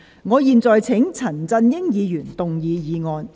我現在請陳振英議員動議議案。